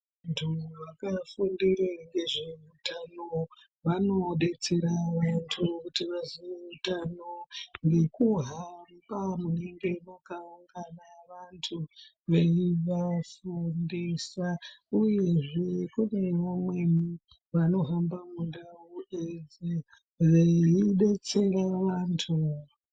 ...ntu vakafundire ngezveutano vanodetsera vantu kuti vaziye utano nekuhamba munenge makaungana vantu veivafundisa uyezve kune vamweni vanohamba mundau idzi veidetsera vantu.